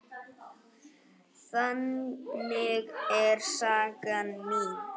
Þannig er saga mín.